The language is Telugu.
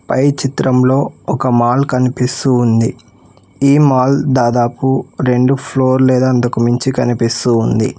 పై చిత్రంలో ఒక మాల్ కనిపిస్తూ ఉంది ఈ మాల్ దాదాపు రెండు ఫ్లోర్ లేదా అందుకు మించి కనిపిస్తూ ఉంది.